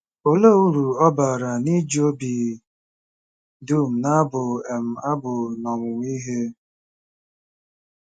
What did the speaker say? Olee uru ọ bara n'iji obi dum na-abụ um abụ n'ọmụmụ ihe?